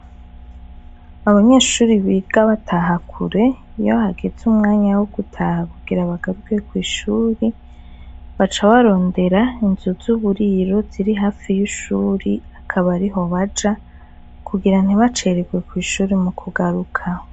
abanyeshuri biga batahakure iyo hageze umwanya wo gutaha kugira bagaruke kwishuri bacabarondera inzu zuburiro ziri hafi y'ishuri akabariho baja kugira ntibacererwe kwishuri mu kugaruka